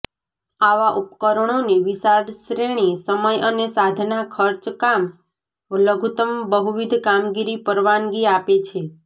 આવા ઉપકરણોની વિશાળ શ્રેણી સમય અને સાધન ખર્ચ કામ લઘુત્તમ બહુવિધ કામગીરી પરવાનગી આપે છે